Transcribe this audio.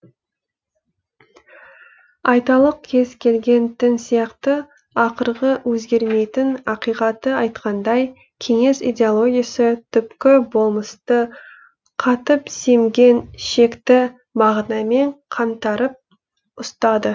айталық кез келген дін сияқты ақырғы өзгермейтін ақиқатты айтқандай кеңес идеологиясы түпкі болмысты қатып семген шекті мағынамен қаңтарып ұстады